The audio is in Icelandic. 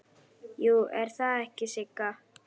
Jú, er það ekki Sigga?